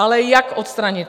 Ale jak odstranit?